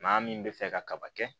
Maa min bɛ fɛ ka kaba kɛ